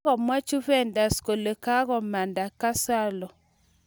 Kagomwa Juventus kole kakomanda Gonzalo